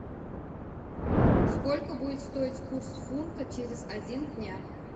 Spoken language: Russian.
сколько будет стоить курс фунта через один дня